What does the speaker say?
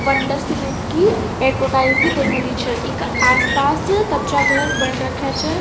Wonder Cement की advertise दे मलि छ इका आसपास कच्चा घर बन रखेया छे।